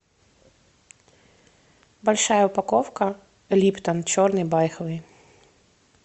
большая упаковка липтон черный байховый